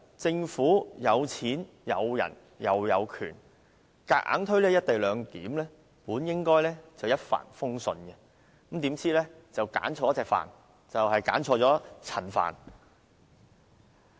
政府有錢、有人，而且有權，硬要推行"一地兩檢"本來應該"一帆風順"，卻選錯了"帆"，我指的是陳帆。